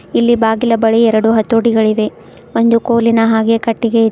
ಇಲ್ಲಿ ಬಾಗಿಲ ಬಳಿ ಎರಡು ಹತೋಟಿಗಳಿವೆ ಒಂದು ಕೋಲಿನ ಹಾಗೆ ಕಟ್ಟಿಗೆ ಇದೆ.